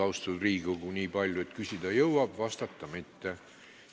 Austatud Riigikogu, aega on jäänud nii palju, et küsida jõuab, vastata mitte.